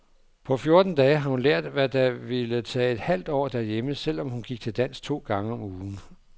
På fjorten dage har hun lært, hvad der ville tage et halvt år derhjemme selv om hun gik til dans to gange om ugen.